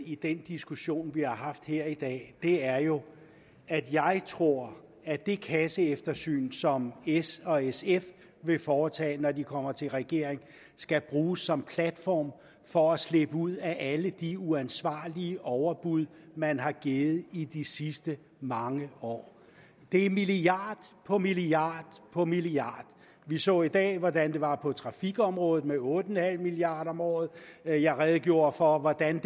i den diskussion vi har haft her i dag er jo at jeg tror at det kasseeftersyn som s og sf vil foretage når de kommer i regering skal bruges som platform for at slippe ud af alle de uansvarlige overbud man har givet i de sidste mange år det er milliard på milliard på milliard vi så i dag hvordan det var på trafikområdet med otte milliard kroner om året jeg jeg redegjorde for hvordan